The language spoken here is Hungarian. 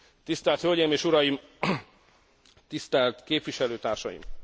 Tisztelt hölgyeim és uraim, tisztelt képviselőtársaim!